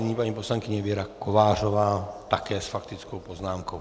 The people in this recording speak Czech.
Nyní paní poslankyně Věra Kovářová, také s faktickou poznámkou.